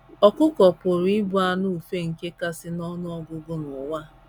ỌKỤKỌ pụrụ ịbụ anụ ufe nke kasị n’ọnụ ọgụgụ n’ụwa.